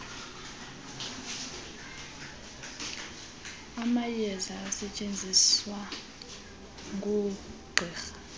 amayeza asetyenziswa ngoogqirha